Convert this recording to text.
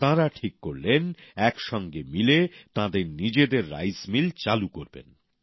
তাঁরা ঠিক করলেন একসঙ্গে মিলে তাঁরা নিজেদের জন্য একটি চাল কল চালু করবেন